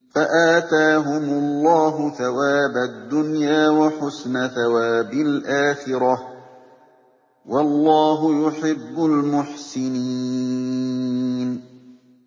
فَآتَاهُمُ اللَّهُ ثَوَابَ الدُّنْيَا وَحُسْنَ ثَوَابِ الْآخِرَةِ ۗ وَاللَّهُ يُحِبُّ الْمُحْسِنِينَ